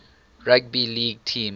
rugby league team